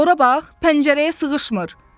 Ora bax, pəncərəyə sığışmır.